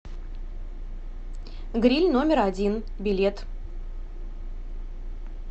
гриль номер один билет